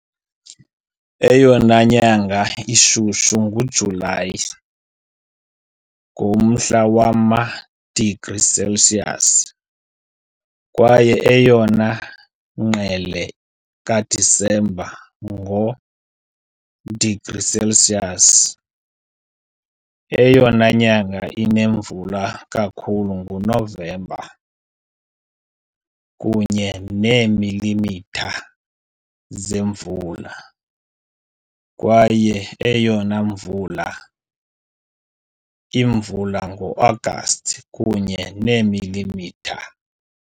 Eyona nyanga ishushu nguJulayi, ngomhla wama-degrees Celsius, kwaye eyona ngqele kaDisemba, ngo-degrees Celsius. Eyona nyanga inemvula kakhulu nguNovemba, kunye neemilimitha zemvula, kwaye eyona mvula imvula ngoAgasti, kunye neemilimitha .